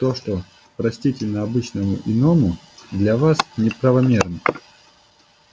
то что простительно обычному иному для вас неправомерно